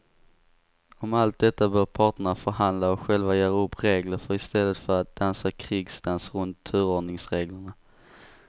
Om allt detta bör parterna förhandla och själva göra upp regler för i stället för att dansa krigsdans runt turordningsreglerna.